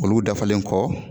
Olu dafalen kɔ